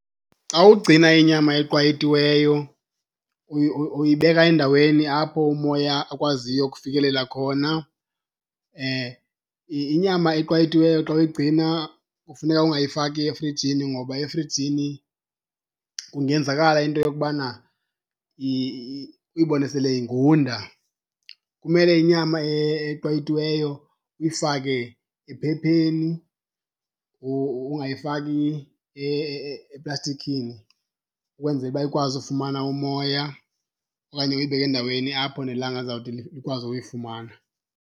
Xa ugcina inyama eqwayitiweyo uyibeka endaweni apho umoya akwaziyo ukufikelela khona. Inyama eqwayitiweyo xa uyigcina kufuneka ungayifaki efrijini ngoba efrijini kungenzakala into yokubana uyibone sele ingunda. Kumele inyama eqwayitiweyo uyifake ephepheni, ungayifaki eplastikini ukwenzela uba ikwazi ufumana umoya okanye uyibeke endaweni apho nelanga lizawuthi likwazi uyifumana.